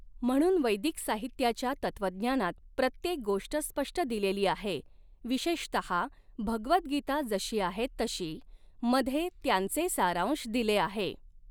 म्हणून वैदिक साहित्याच्या तत्वज्ञानात प्रत्येक गोष्ट स्पष्ट दिलेली आहे, विशेषतहा भगवद्गीता जशी आहे तशी, मधे त्यांचे सारांश दिले आहे.